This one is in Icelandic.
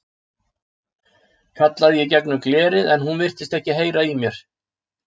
kallaði ég í gegnum glerið en hún virtist ekki heyra í mér.